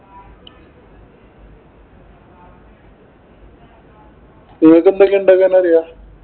നിങ്ങക്ക് എന്തൊക്കെ ഉണ്ടാക്കാന്‍ അറിയാം?